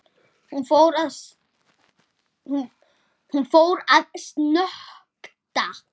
Hún fór að snökta.